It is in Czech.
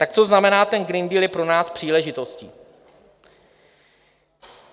Tak co znamená, ten Green Deal je pro nás příležitostí?